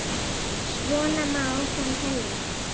Svona má áfram telja.